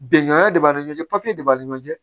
Bɛngan de b'a ni ɲɔgɔn cɛ papiye de b'a ni ɲɔgɔn cɛ